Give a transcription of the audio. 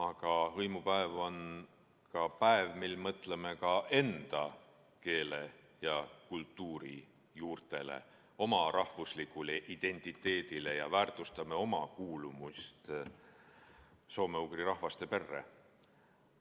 Aga hõimupäev on ka päev, mil me mõtleme enda keele ja kultuuri juurtele, oma rahvuslikule identiteedile ja väärtustame oma kuuluvust soome-ugri rahvaste perre.